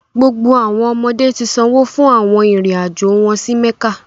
Gbogbo awọn ọmọde ti sanwo fun awọn irin-ajo wọn si mekka